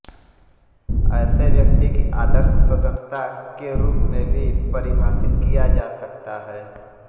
ऐसे व्यक्ति की आदर्श स्वतंत्रता के रूप में भी परिभाषित किया जा सकता है